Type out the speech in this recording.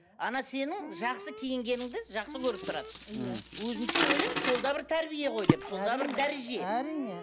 сенің жақсы киінгеніңді жақсы көріп тұрады мхм өзімше ойлаймын сол да бір тәрбие ғой деп сол да бір дәреже әрине